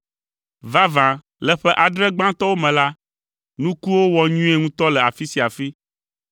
Vavã, le ƒe adre gbãtɔwo me la, nukuwo wɔ nyuie ŋutɔ le afi sia afi.